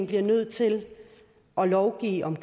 blev nødt til at lovgive om